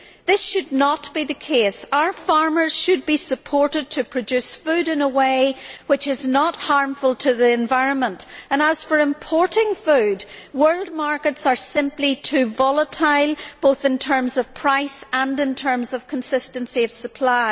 This should not be the case. Our farmers should be supported to produce food in a way which is not harmful to the environment, and as for importing food, world markets are simply too volatile both in terms of price and in terms of consistency of supply.